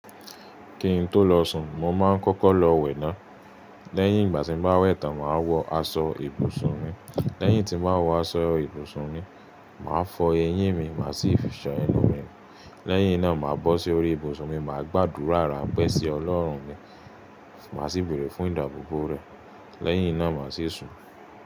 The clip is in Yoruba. Kí n tó lọ sùn, mo máa ń kọ́kọ́ lọ wẹ̀ ná. Lẹ́yìn, ìgbà tí mo bá wẹ̀ tán, màá wọ aṣọ ibùsùn mi. Lẹ́yìn tí màá wọ aṣọ ibùsùn mi, màá fọ eyín mi, màá sì fí ṣàn ẹnu mi. Lẹ́yìn náà màá bọ́ sí orí ibùsùn mi, màá gbàdúrà ráńpẹ́ sí Ọlọ́run mi, màá sì béèrè fún ìdábòbò rẹ̀. Lẹ́yìn náà màá sì sùn.